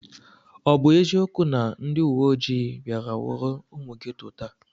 Ọ bụ eziokwu na ndị uweoji bịara nwụrụ ụmụ geto taa?